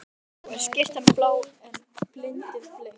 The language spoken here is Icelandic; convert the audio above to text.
Nú er skyrtan blá en bindið bleikt.